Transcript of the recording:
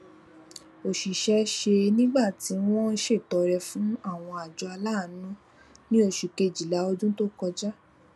òṣìṣẹ ṣe nígbà tí wọn ń ṣètọrẹ fún àwọn àjọ aláàánú ní oṣu kejila ọdun tó kọjá